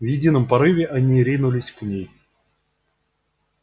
в едином порыве они ринулись к ней